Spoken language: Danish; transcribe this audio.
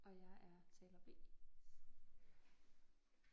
Og jeg er taler B